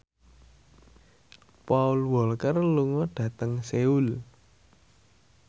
Paul Walker lunga dhateng Seoul